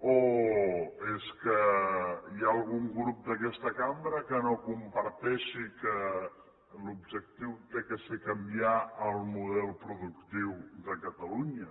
o és que hi ha algun grup d’aquesta cambra que no comparteixi que l’objectiu ha de ser canviar el model productiu de catalunya